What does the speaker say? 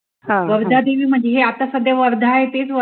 वर्धा देवळी म्हणजे आत्ता सध्या हे वर्धा आहे तेच वर्धा